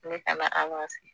Ne ka na an k'an sigi